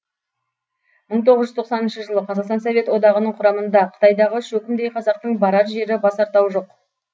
мың тоғыз жүз тоқсаныншы жылы қазақстан совет одағының құрамында қытайдағы шөкімдей қазақтың барар жері басар тауы жоқ